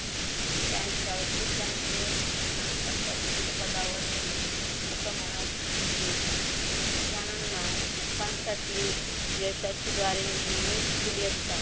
त्यांच्या ओफीसांचे त्यांना अशा उच्च पदावर नेले अस म्हणत लोकांसाठी यशाची द्वारे नेहमीच खुली असतात.